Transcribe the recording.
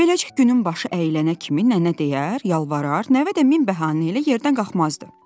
Beləcə günün başı əyilənə kimi nənə deyər, yalvarar, nəvə də min bəhanə ilə yerdən qalxmazdı.